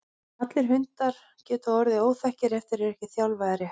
Allir hundar geta orðið óþekkir ef þeir eru ekki þjálfaðir rétt.